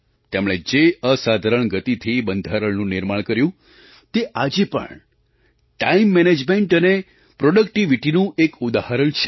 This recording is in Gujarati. તેમણે જે અસાધારણ ગતિથી બંધારણનું નિર્માણ કર્યું તે આજે પણ ટાઇમ મેનેજમેન્ટ અને પ્રૉડક્ટિવિટીનું એક ઉદાહરણ છે